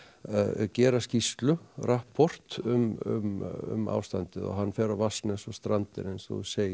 gera skýrslu rapport um ástandið og hann fer á Vatnsnes og Strandir eins og þú segir